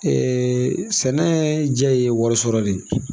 sɛnɛ jɛ ye wari sɔrɔ de ye.